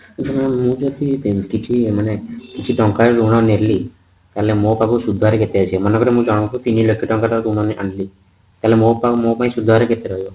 ମୁଁ ଯେମିତି କି କିଛି କିଛି ଟଙ୍କା ଆଉ ଋଣ ନେଲି ତାହାଲେ ମୋ ପାଖକୁ ସୁଧ ରେ କେତେ ଆସିବ ମନେକର ମୁଁ ଜଣଙ୍କ ଠୁ ତିନିଲକ୍ଷ୍ୟ ଟଙ୍କା ର ଋଣ ଆଣିଲି ହେଲେ ମୋ ପାଖରେ ସୁଧହାର କେତେ ରହିବ